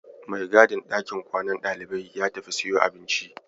Mai gadin ɗakin kwanan ɗaliban ya tafi siyo abinci.